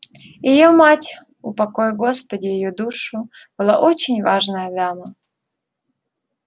и её мать упокой господи её душу была очень важная дама